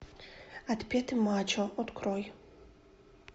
отпетый мачо открой